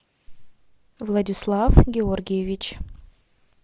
владислав георгиевич